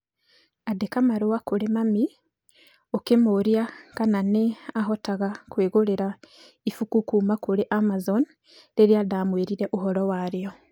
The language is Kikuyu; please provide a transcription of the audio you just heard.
Andĩka marũa kũrĩ mami ũkamũũria kana nĩ ahotaga kwĩgũrĩra ibuku kuuma kũrĩ Amazon rĩrĩa ndamwĩrire ũhoro warĩo.